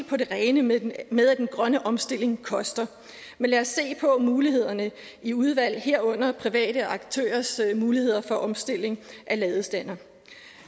på det rene med med at den grønne omstilling koster men lad os se på mulighederne i udvalget herunder private aktørers muligheder for opstilling af ladestandere